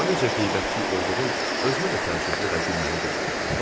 Amma necə qeybətçil olduğum özümə də təcrübli və gülməli görünür.